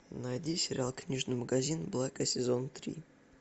найди сериал книжный магазин блэка сезон три